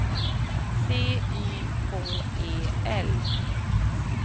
C Y K E L